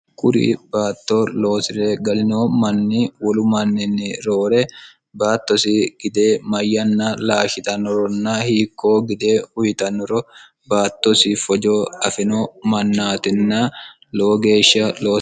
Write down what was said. kuri baatto loosire galino manni wolu manninni roore baattosi gide mayyanna laashitannoronna hiikkoo gide uyitannoro baattosi fojo afino mannaatinna lowo geeshsha horo